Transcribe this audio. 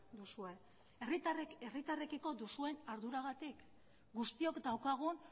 duzue herritarrekiko duzuen arduragatik guztiok daukagun